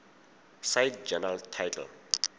cite journal title